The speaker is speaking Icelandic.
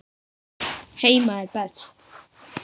Heima er best.